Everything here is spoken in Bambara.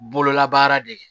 Bololabaara de kɛ